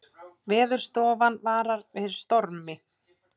Veðurstofan varar við stormi